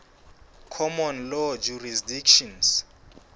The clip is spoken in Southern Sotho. common law jurisdictions